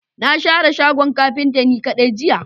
Na share shagon kafinta ni kadai jiya.